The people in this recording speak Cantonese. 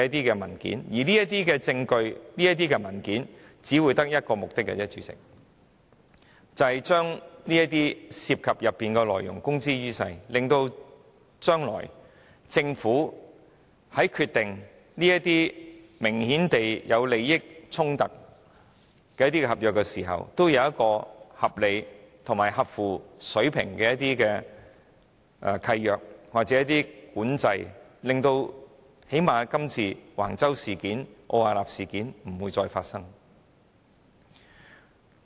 我們要獲取證據和文件的唯一目的，便是要把當中涉及的內容公諸於世，使政府在將來須決定一些明顯有利益衝突的合約時，會有合理和合乎水平的契約和管制，最低限度確保類似這次橫洲和奧雅納的事件不會再發生。